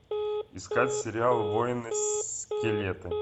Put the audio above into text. искать сериал воины скелеты